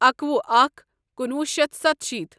اکوُہ اکھ کُنوُہ شیتھ سَتشیٖتھ۔